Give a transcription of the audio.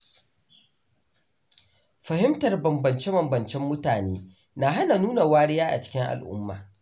Fahimtar bambance-bambancen mutane na hana nuna wariya a cikin al’umma.